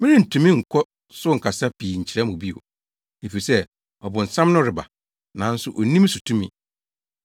Merentumi nkɔ so nkasa pii nkyerɛ mo bio, efisɛ ɔbonsam no reba, nanso onni me so tumi.